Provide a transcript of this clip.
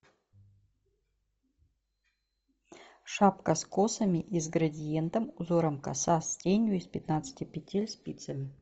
шапка с косами и с градиентом узором коса с тенью из пятнадцати петель спицами